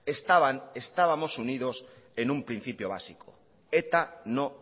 estaban estábamos unidos en un principio básico eta no